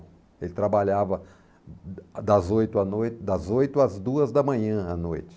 Ele trabalhava das oito à noite, das oito às duas da manhã à noite.